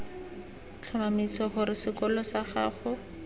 tlhomamisa gore sekolo sag ago